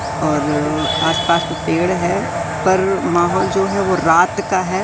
और आसपास पेड़ है पर माहौल जो है वो रात का है।